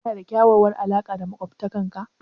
Kana da kyakkyawar alaqa da maƙwabtanka?